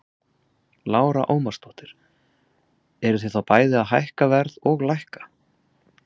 Lára Ómarsdóttir: Eruð þið þá bæði að hækka verð og lækka?